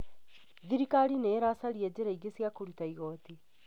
Thirikari nĩ iracaria njĩra ingĩ cia kũruta igooti.